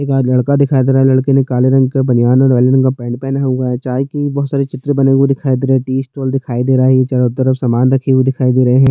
एक लड़का दिखाई दे रहा है लड़के ने काले रंग का बनियान और काले रंग का पैंट पहना हुआ है चाय की बहुत सारे चित्र बने हुए दिखाई दे रहै है दिखाई दे रहा है ये चारों तरफ सामान रखे हुए दिखाई दे रहै हैं।